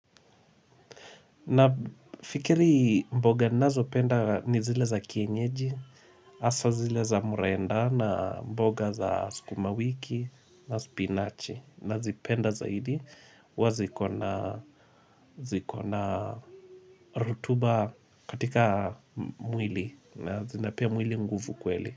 Na fikiri mboga nazo penda ni zile za kienyeji, hasa zile za murenda na mboga za skumawiki na spinachi nazipenda zaidi huwa ziko na rutuba katika mwili na zinapea mwili nguvu kweli.